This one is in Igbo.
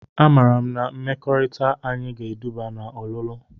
A maara m na mmekọrịta anyị ga-eduba na ọlụlụ.